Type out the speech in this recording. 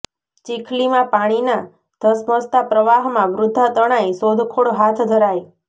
ચીખલીમાં પાણીના ધસમસતા પ્રવાહમાં વૃદ્ધા તણાઈઃ શોધખોળ હાથ ધરાઈ